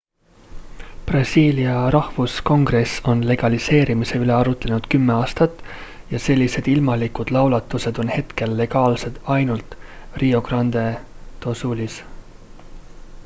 brasiilia rahvuskongress on legaliseerimise üle arutlenud 10 aastat ja sellised ilmalikud laulatused on hetkel legaalsed ainult rio grande do sulis